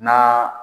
Na